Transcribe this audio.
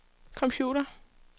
computer